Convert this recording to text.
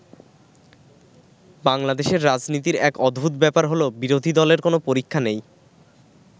বাংলাদেশের রাজনীতির এক অদ্ভুত ব্যাপার হলো, বিরোধী দলের কোনো পরীক্ষা নেই।